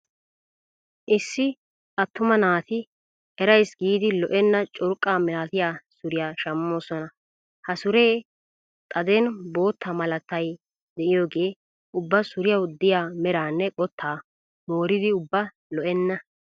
Issi attuma naati erayis giidi lo'enna curqqa malatiya suriya shammoosona. Ha suree xaden bootta malaatay diyoogee ubba suriyaw diya meranne qottaa mooridi ubba lo"enna.